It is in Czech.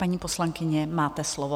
Paní poslankyně, máte slovo.